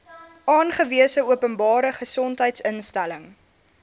aangewese openbare gesondheidsinstelling